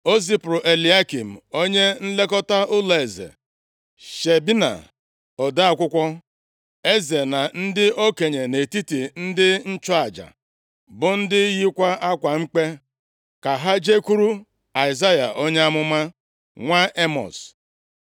O zipụrụ Eliakịm onye nlekọta ụlọeze, Shebna ode akwụkwọ eze na ndị okenye nʼetiti ndị nchụaja, bụ ndị yikwa akwa mkpe, ka ha jekwuru Aịzaya onye amụma, nwa Emọz.